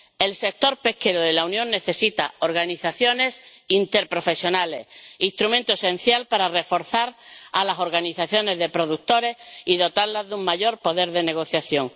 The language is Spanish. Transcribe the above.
El sector pesquero de la Unión necesita organizaciones interprofesionales, instrumento esencial para reforzar a las organizaciones de productores y dotarlas de un mayor poder de negociación.